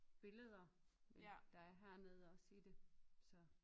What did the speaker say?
Billeder der er hernede også i det så